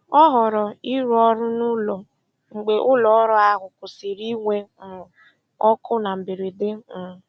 Ọ họọrọ ịrụ ọrụ n'ụlọ mgbe ụlọọrụ ahụ kwụsịrị inwe um ọkụ na mberede. um